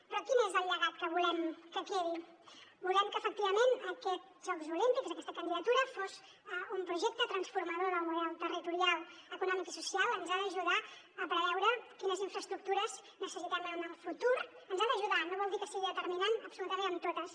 però quin és el llegat que volem que quedi volem que efectivament aquests jocs olímpics aquesta candidatura sigui un projecte transformador del model territorial econòmic i social ens ha d’ajudar a preveure quines infraestructures necessitem en el futur ens hi ha d’ajudar no vol dir que sigui determinant absolutament en totes